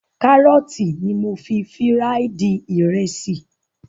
Kárọ̀tì ní mò ń fi fíráídí ìrẹsì.